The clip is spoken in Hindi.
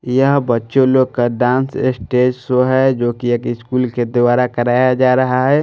यह बच्चों लोग का डांस स्टेज शो है जो कि एक स्कूल के द्वारा कराया जा रहा है।